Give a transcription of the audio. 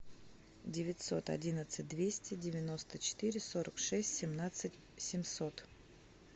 девятьсот одиннадцать двести девяносто четыре сорок шесть семнадцать семьсот